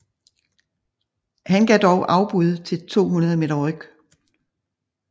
Han gav dog afbud til 200 m ryg